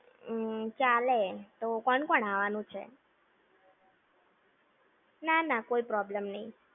હમ્મ, ચાલે. તો કોણ કોણ આવાનું છે? ના, ના, કોઈ problem નઈ.